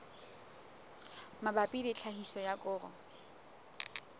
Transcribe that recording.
mabapi le tlhahiso ya koro